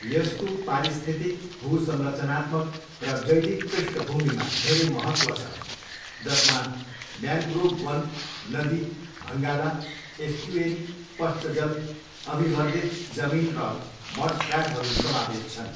यसको पारिस्थितिक, भूसंरचनात्मक, र जैविक पृष्ठभूमिमा धेरै महत्व छ जसमा म्यानग्रोभ वन, नदी, भङ्गाला, एस्चुएरी, पश्च जल, अभिवर्धित जमिन र मडफ्ल्याटहरू समावेश छन्।